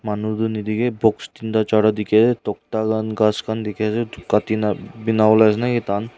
manu tu nadikhae box teen tae charta dikhiase tokta han ghas khan dikhiase edu kanti na binawolae ase naki tahan.